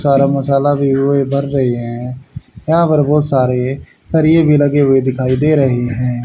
सारा मसाला भी वही भर रहे हैं यहां पर बहुत सारे सरिए भी लगे हुए दिखाई दे रहे हैं।